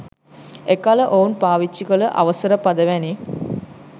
එකල ඔවුන් පාවිච්චිකල අවසර පද වැනි